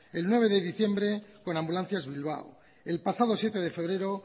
el nueve de diciembre con ambulancias bilbao el pasado siete de febrero